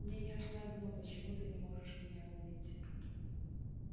мне ясно одно почему ты не можешь меня убить